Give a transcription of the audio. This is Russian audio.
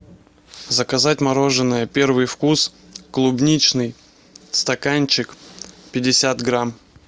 заказать мороженое первый вкус клубничный стаканчик пятьдесят грамм